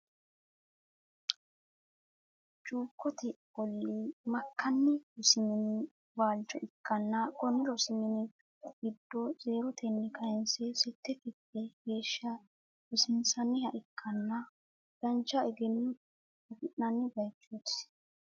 Cukkote ooli makanni rosu minni waalicho ikanna konni rosi minni giddo zeerotenni kayinse sette kifile geesha rosiinsaniha ikanna dancha eggenno afi'nanni bayichooti.